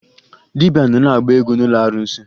Dibịa nọ na-agba egwu n'ụlọ arụsị